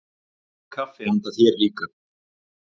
Nóg kaffi handa þér líka.